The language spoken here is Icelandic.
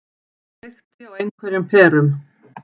Það kveikti á einhverjum perum.